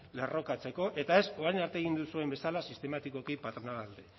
lerrokatzeko eta ez orain arte egin duzuen bezala sistematikoki patronalaren alde